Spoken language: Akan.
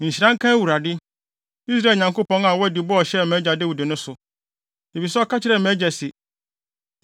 “Nhyira nka Awurade, Israel Nyankopɔn, a wadi bɔ a ɔhyɛɛ mʼagya Dawid no so, efisɛ ɔka kyerɛɛ mʼagya se,